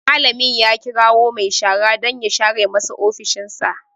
Malamin ya kirawo mai shara dan ya share masa ofishin sa